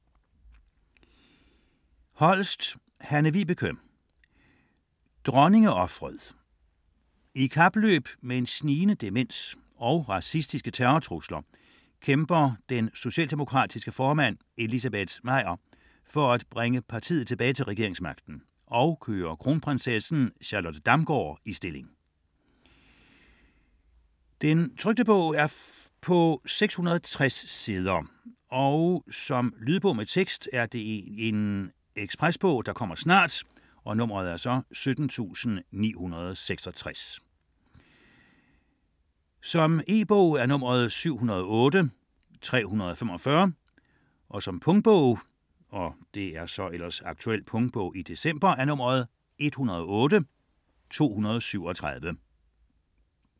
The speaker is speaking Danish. Holst, Hanne-Vibeke: Dronningeofret I kapløb med en snigende demens og racistiske terrortrusler kæmper den socialdemokratiske formand Elizabeth Meyer for at bringe partiet tilbage til regeringsmagten og køre kronprinsessen Charlotte Damgaard i stilling. 2008, 660 sider. Lydbog med tekst 17966 E-bog 708345 Punktbog 108237 Ekspresbog - kommer snart. Aktuel punktbog december